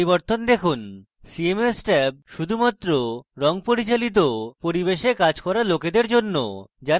cms tab শুধুমাত্র রঙ পরিচালিত পরিবেশে কাজ করা লোকেদের জন্য যারা বাস্তবিক রূপে আগ্রহী হবে